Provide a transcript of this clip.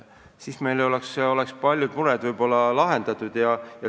Siis meil oleks ehk paljud mured lahendatud.